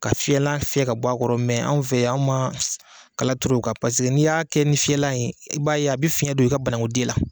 Ka fiɲɛlan fiɲɛ ka bɔ a kɔrɔ, mɛn anw fɛ yan, anw ma kala turu o kan paseke n'i y'a kɛ ni fiyɛlan ye, i b'a ye a bɛ fiɲɛn don i ka banakunden la.